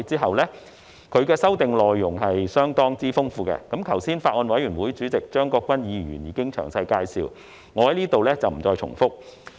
是次修訂的內容相當豐富，剛才法案委員會主席張國鈞議員已作出詳細介紹，我在此不再重複。